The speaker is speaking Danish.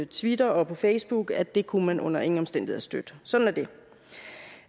twitter og på facebook at det kunne man under ingen omstændigheder støtte sådan